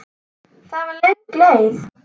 Það var löng leið.